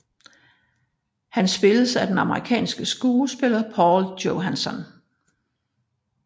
Han spilles af den amerikanske skuespiller Paul Johansson